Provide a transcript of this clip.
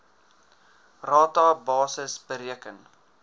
rata basis bereken